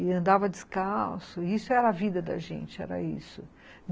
E andava descalço, isso era a vida da gente, era isso.